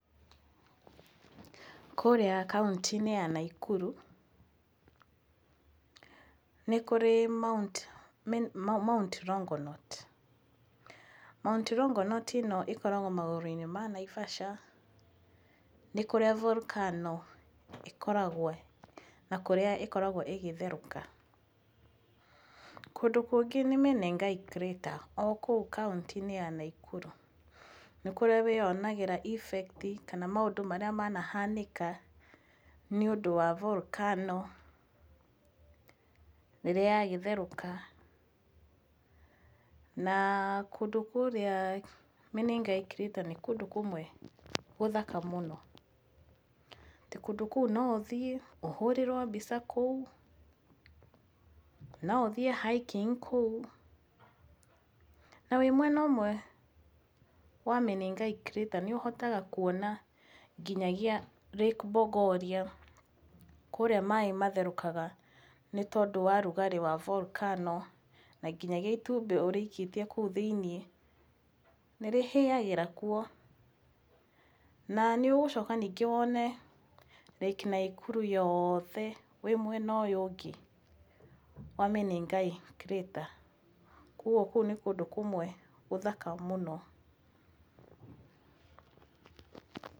Kũrĩa kaũntĩ-inĩ ya Nakuru nĩ kũrĩ Mount Longonot. Mount Longonot ĩno ĩkoragwo magũrũ-inĩ ma Naivasha. Nĩ kũrĩa Volcano ĩkoragwo na kũrĩa ĩkoragwo ĩgĩtherũka. Kũndũ kũngĩ nĩ Menengai Crater o kũu kaũntĩ-inĩ ya Nakuru. Nĩ kũrĩa wĩonagĩra effect kana maũndũ marĩa manahanĩka nĩ ũndũ wa volcano rĩrĩa yagĩtherũka. Na kũndũ kũrĩa Menengai Crater nĩ kũndũ kũmwe gũthaka mũno. Tĩ kũndũ kũu no ũthiĩ ũhũrĩrwo mbica kũu, no ũthiĩ hiking kũu. Na wĩ mwena ũmwe wa Menengai Crater nĩ wonaga nginyagia Lake Bogoria kũrĩa maĩ matherũkaga nĩ tondũ wa ũrugarĩ wa volacano, na nginyagia itumbĩ ũrĩikĩtie kũu thĩinĩ nĩ rĩhĩagĩra kuo. Na nĩ ũgũcoka ningĩ wone Lake Nakuru yothe wĩ mwena ũyũ ũngĩ wa Menengai Crater. Koguo kũu nĩ kũndũ kũmwe gũthaka mũno.